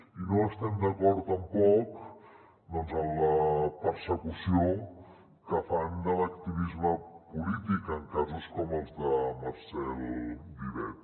i no estem d’acord tampoc en la persecució que fan de l’activisme polític en casos com el de marcel vivet